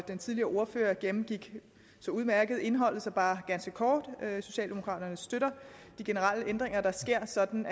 den tidligere ordfører gennemgik så udmærket indholdet så bare ganske kort socialdemokraterne støtter de generelle ændringer der sker sådan